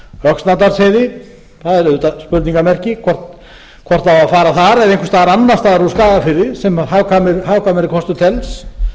öxnadalsheiði það er auðvitað spurningarmerki hvort það á að fara þar eða einhvers staðar annars staðar úr skagafirði sem hagkvæmari kostur telst